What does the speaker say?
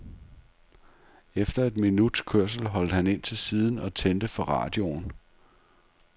Efter et minuts kørsel holdt han ind til siden og tændte for radioen.